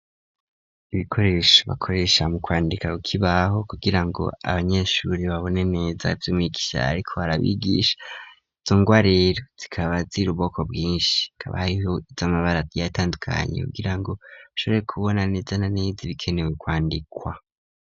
Ibikoresho bakoresha mu kwandika kukibaho kugira ngo abanyeshure babone neza vy'umwigisha ariko arabigisha izo ngwa rero zikaba ziri mubwoko bwinshi hakaba hariho izamabara atandukanye kugirango ashobore kubona neza na neze ibikenewe kwandikwa.